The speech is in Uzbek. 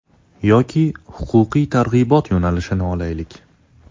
Yoki huquqiy targ‘ibot yo‘nalishini olaylik.